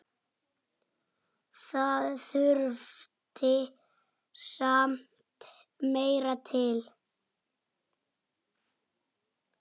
Það þurfti samt meira til.